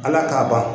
Ala k'a ban